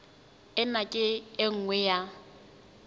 ena ke e nngwe ya